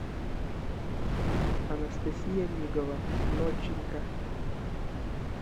анастасия мигова ноченька